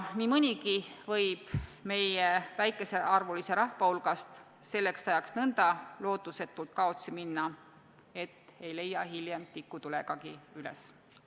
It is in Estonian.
Nii mõnigi meie väikesearvulise rahva hulgast võib selleks ajaks nõnda lootusetult kaotsi minna, nii et ei leia teda hiljem tikutulegagi üles.